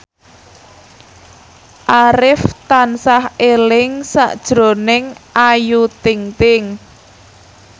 Arif tansah eling sakjroning Ayu Ting ting